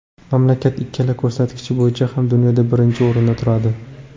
Mamlakat ikkala ko‘rsatkich bo‘yicha ham dunyoda birinchi o‘rinda turadi.